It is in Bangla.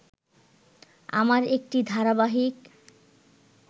আমার একটি ধারাবাহিক